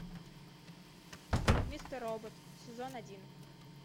мистер робот сезон один